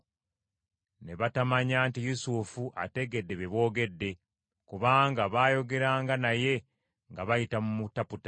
Ne batamanya nti Yusufu ategedde bye boogedde, kubanga bayogeranga naye nga bayita mu mutaputa.